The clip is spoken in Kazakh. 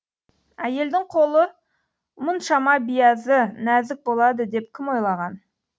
әйелдің қолы мұншама биязы нәзік болады деп кім ойлаған